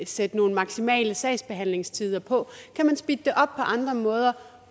sætte nogle maksimale sagsbehandlingstider på kan man speede det op på andre måder